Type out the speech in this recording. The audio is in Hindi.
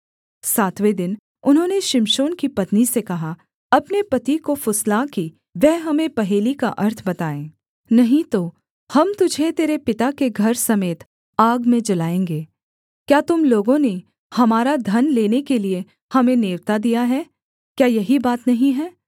सातवें दिन उन्होंने शिमशोन की पत्नी से कहा अपने पति को फुसला कि वह हमें पहेली का अर्थ बताए नहीं तो हम तुझे तेरे पिता के घर समेत आग में जलाएँगे क्या तुम लोगों ने हमारा धन लेने के लिये हमें नेवता दिया है क्या यही बात नहीं है